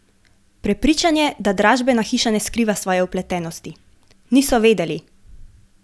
Prepričan je, da dražbena hiša ne skriva svoje vpletenosti: "Niso vedeli.